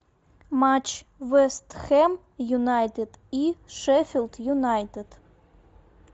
матч вест хэм юнайтед и шеффилд юнайтед